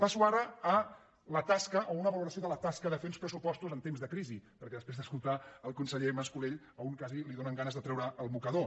passo ara a la tasca o a una valoració de la tasca de fer uns pressupostos en temps de crisi perquè després d’escoltar el conseller mas·colell a un quasi li donen ganes de treure el mocador